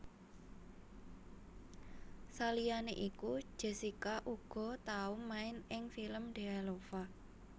Saliyané iku Jessica uga tau main ing film Dealova